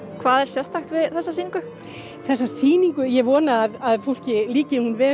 hvað er sérstakt við þessa sýningu þessa sýningu ég vona að fólki líki hún vel